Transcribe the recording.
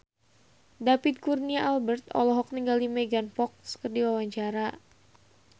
David Kurnia Albert olohok ningali Megan Fox keur diwawancara